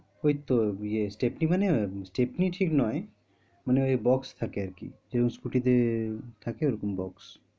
ওই তো ইয়ে আহ stepney মানে stepney ঠিক নয় মানে ওই box থাকে আর কি যেরম scooty তে থাকে ওরকম box